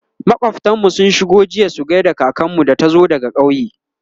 makwaftan mu sun shigo jiya su gaida kakanmu da ta zo daga ƙauye